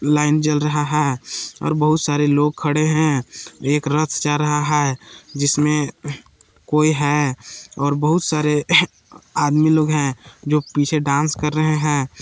Line जल रहा है और बहुत सारे लोग खड़े हैं एक रथ जा रहा है जिसमें कोई है और बहुत सारे आदमी लोग हैं जो पीछे डांस कर रहे हैं।